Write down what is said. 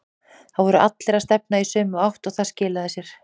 Það voru allir að stefna í sömu átt og það skilaði sér.